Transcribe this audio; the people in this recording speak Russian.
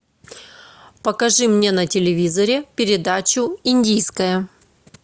покажи мне на телевизоре передачу индийское